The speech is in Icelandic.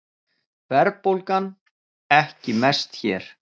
Verðbólgan ekki mest hér